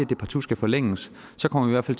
det partout skal forlænges så kommer vi